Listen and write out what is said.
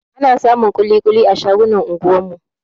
Ana samun kuli-kuli a shagunan anguwan mu